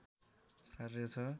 कार्य छ